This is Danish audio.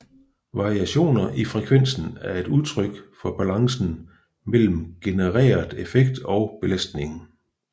Variationer i frekvensen er et udtryk for balancen mellem genereret effekt og belastningen